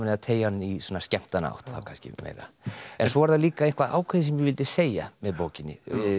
að teygja hann í svona skemmtanaátt kannski meira en svo var það líka eitthvað ákveðið sem ég vildi segja með bókinni